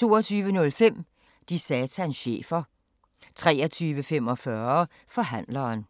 22:05: De satans chefer 23:45: Forhandleren